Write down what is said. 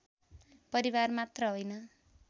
परिवार मात्र होइन